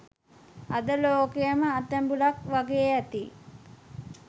අද ලෝකයම අතැඹුලක් වගේ ඇති